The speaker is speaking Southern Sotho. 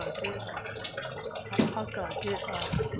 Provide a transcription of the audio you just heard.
ha a ke ke a